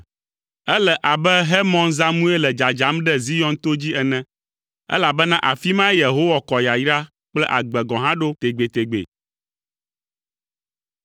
Ele abe Hermon zãmue le dzadzam ɖe Zion to dzi ene, elabena afi mae Yehowa kɔ yayra kple agbe gɔ̃ hã ɖo tegbetegbe.